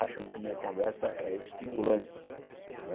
Acham que minha conversa é estimulante. Não é